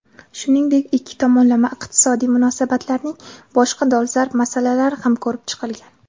Shuningdek ikki tomonlama iqtisodiy munosabatlarning boshqa dolzarb masalalari ham ko‘rib chiqilgan.